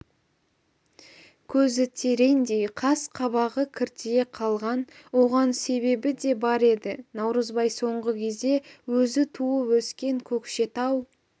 көзі тереңдей қас-қабағы кіртие қалған оған себебі де бар еді наурызбай соңғы кезде өзі туып-өскен көкшетау